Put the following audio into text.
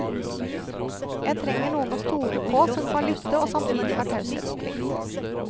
Jeg trenger noen å stole på, som kan lytte og samtidig har taushetsplikt.